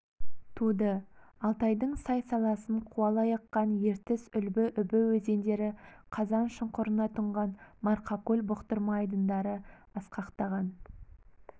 туды алтайдың сай-саласын қуалай аққан ертіс үлбі үбі өзендері қазаншұңқырына тұнған марқакөл бұқтырма айдындары асқақтаған